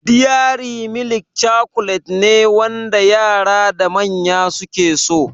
Diyari milik cakulet ne wanda yara da manya suke so